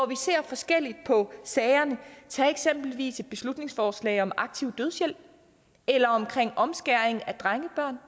vi ser forskelligt på sagerne tag eksempelvis et beslutningsforslag om aktiv dødshjælp eller om omskæring af drengebørn